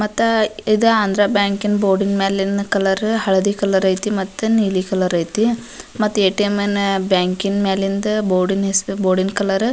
ಮತ್ತ ಇದ ಆಂದ್ರ ಬ್ಯಾಂಕ್ ನ ಬೋರ್ಡಿನ್ ಮ್ಯಾಲಿನ ಕಲರ್ ಹಳದಿ ಕಲರ್ ಐತಿ ಮತ್ತ ನೀಲಿ ಕಲರ್ ಐತಿ ಮತ್ತ್ ಏ.ಟಿ.ಎಮ್ ನ ಬ್ಯಾಂಕಿನ್ ಮ್ಯಾಲಿಂದ್ ಬೋರ್ಡಿನ್ ಹೆಸರು ಬೋರ್ಡಿನ್ ನ್ ಕಲರ್ --